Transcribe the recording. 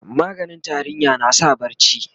maganin tarinya na sa barci